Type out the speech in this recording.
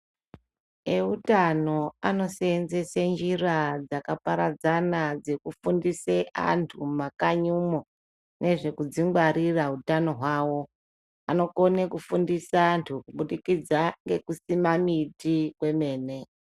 Eutano anosenzese njira dzakaparadzana dzekufundise antu mumakanyimwo nezvekudzingwarira utano hwawo. Anokone kufundisa vantu kubudikidza ngekusima miti kwemene.